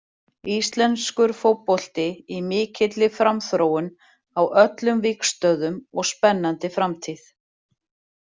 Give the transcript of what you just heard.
Íslenskur fótbolti í mikilli framþróun á öllum vígstöðvum og spennandi framtíð.